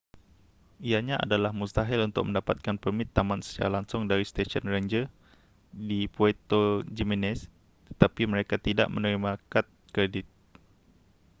ianya adalah mustahil untuk mendapatkan permit taman secara langsung dari stesen ranger di puerto jiménez tetapi mereka tidak menerima kad kredit